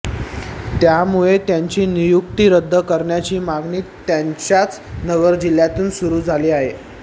त्यामुळे त्यांची नियुक्ती रद्द करण्याची मागणी त्यांच्याच नगर जिल्ह्यातून सुरू झाली आहे